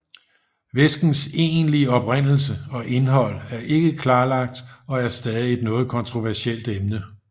Væskens egentlige oprindelse og indhold er ikke klarlagt og er stadig et noget kontroversielt emne